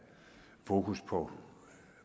fokus på